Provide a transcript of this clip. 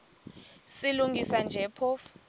silungisa nje phofu